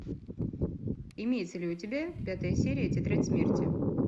имеется ли у тебя пятая серия тетрадь смерти